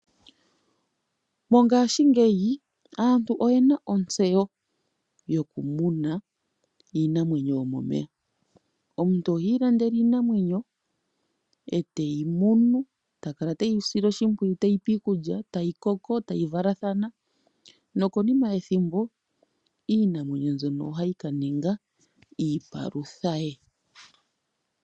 Mongashingeyi aantu oyena ontyeyo yoku muna iinamwenyo yomomeya tiilandele iinamwenyo eteyi munu ta kala teyi sile oshipwiyu teyi pe iikulya tayi koko tayi valathana nokonima yethimbo iinamwenyo mbyono ohayi ka ninga iipalutha ye.